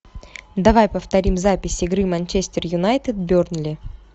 давай повторим запись игры манчестер юнайтед бернли